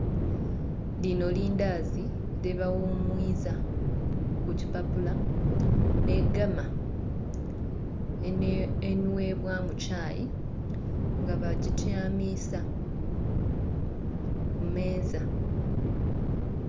Lino lindazi lyebawumwiza kukipapula n'egama enhwebwa mu kyaayi nga bajityamisa ku meeza.